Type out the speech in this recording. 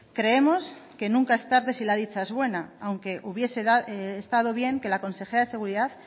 creemos que nunca es tarde si la dicha es buena aunque hubiese estado bien que la consejera de seguridad